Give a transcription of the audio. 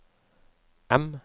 M